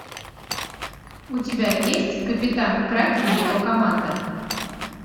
у тебя есть капитан кракен и его команда